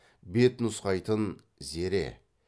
бет нұсқайтын зере